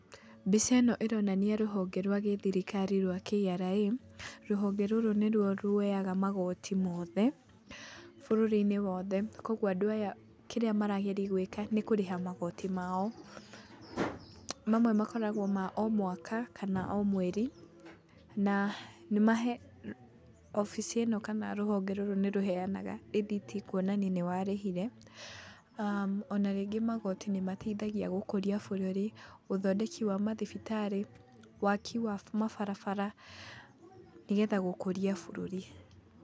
Mbica ĩno ĩronania rũhonge rwa gĩthirikari rwa KRA.Rũhonge rũrũ nĩruo ruoyaga magoti mothe bũrũri-inĩ wothe kwoguo andũ aya kĩrĩa marageria gwĩka nĩ kũrĩha magoti mao. Mamwe makoragwo ma o mwaka kana o mweri na nĩmahe..obici ĩno kana rũhonge rũrũ nĩ rũheanaga rĩthiti kuonania nĩwarĩhire.O na rĩngĩ magoti nĩ mateithagia gũkũria bũrũri, ũthondeki wa mathibitarĩ, waaki wa mabarabara nĩ getha gũkũria bũrũri.